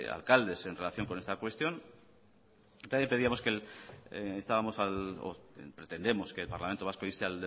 alcaldes en relación con esta cuestión también pretendemos que el parlamento vasco inste